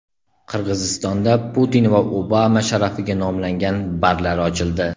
Qirg‘izistonda Putin va Obama sharafiga nomlangan barlar ochildi .